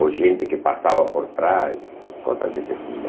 ou gente que passava por trás, coisas desse tipo.